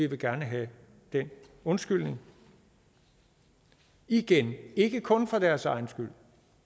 vil have den undskyldning igen ikke kun for deres egen skyld